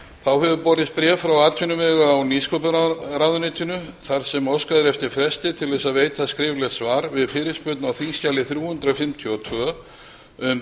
þá hefur borist bréf frá atvinnuvega og nýsköpunarráðuneytinu þar sem óskað er eftir fresti til að veita skriflegt svar við fyrirspurn á þingskjali þrjú hundruð fimmtíu og tvö um